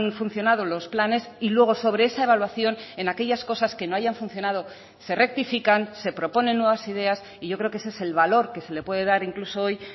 funcionado los planes y luego sobre esa evaluación en aquellas cosas que no hayan funcionado se rectifican se proponen nuevas ideas y yo creo que ese es el valor que se le puede dar incluso hoy